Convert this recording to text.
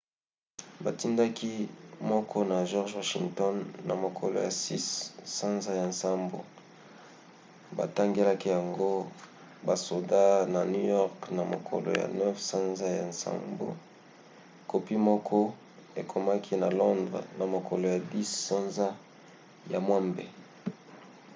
batindaki moko na george washington na mokolo ya 6 sanza ya nsambo; batangelaki yango basoda na new york na mokolo ya 9 sanza ya nsambo. kopi moko ekomaki na londres na mokolo ya 10 sanza ya mwambe